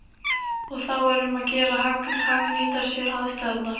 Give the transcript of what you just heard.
Og þá er um að gera að hagnýta sér aðstæðurnar.